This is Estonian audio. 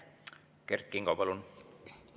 Kert Kingo, palun!